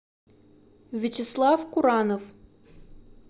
вячеслав куранов